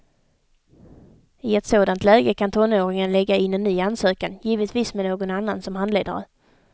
I ett sådant läge kan tonåringen lägga in en ny ansökan, givetvis med någon annan som handledare.